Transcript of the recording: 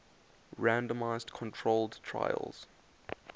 randomized controlled trials